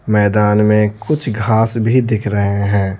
मैदान में कुछ घास भी दिख रहे हैं।